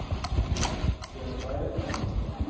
Buenos Aires